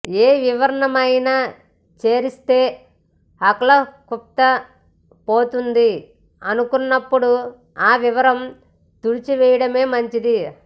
ఏ వివరమైనా చేరిస్తే ఆ క్లుప్తత పోతుంది అనుకున్నప్పుడు ఆ వివరం తుడిచివేయడమే మంచిది